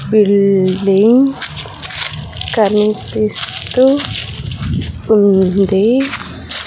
Building కనిపిస్తూ ఉంది.